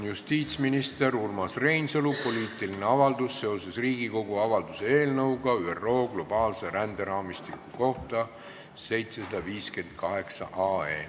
Justiitsminister Urmas Reinsalu poliitiline avaldus seoses Riigikogu avalduse "ÜRO globaalse ränderaamistiku kohta" eelnõuga 758.